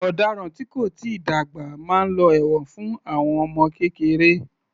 Ọ̀daràn tí kò tíì dàgbà máa lọ ẹ̀wọ̀n fún àwọn ọmọ kékeré